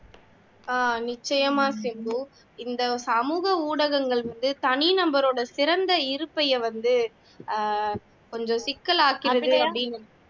ஆஹ் நிச்சயமா சிம்பு இந்த சமூக ஊடகங்கள் வந்து தனி நபரோட சிறந்த இருப்பை வந்து அஹ் கொஞ்சம் சிக்கலாக்கிவிடுது அப்படின்னு